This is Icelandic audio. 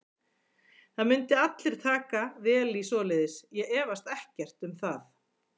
Það myndu allir taka vel í svoleiðis, ég efast ekkert um það.